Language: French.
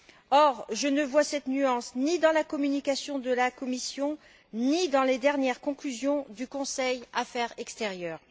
Or, je ne vois cette nuance ni dans la communication de la Commission, ni dans les dernières conclusions du Conseil Affaires extérieures.